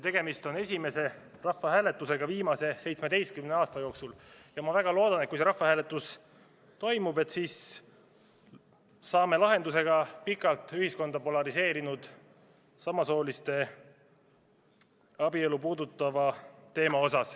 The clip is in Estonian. Tegemist on esimese rahvahääletusega viimase 17 aasta jooksul ja ma väga loodan, et kui see rahvahääletus toimub, siis saab lahenduse ka pikalt ühiskonda polariseerinud samasooliste abielu puudutav teema.